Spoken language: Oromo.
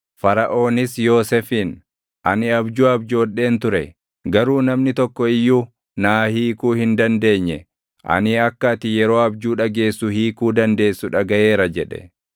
Faraʼoonis Yoosefiin, “Ani abjuu abjoodheen ture; garuu namni tokko iyyuu naa hiikuu hin dandeenye. Ani akka ati yeroo abjuu dhageessu hiikuu dandeessu dhagaʼeera” jedhe.